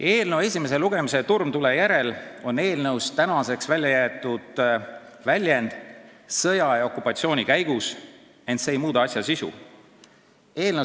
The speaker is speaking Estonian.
Eelnõu esimese lugemise turmtule järel on eelnõust välja jäetud väljend "sõja ja okupatsiooni käigus", ent see ei muuda asja sisu.